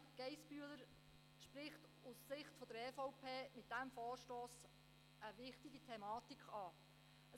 Aus Sicht der EVP spricht Grossrätin Geissbühler mit ihrer Motion eine wichtige Problematik an.